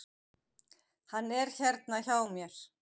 Hann er hérna hjá mér.